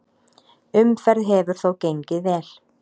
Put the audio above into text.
Umferð hefur þó gengið vel.